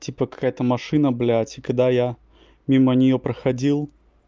типа какая-то машина блять и когда я мимо нее проходил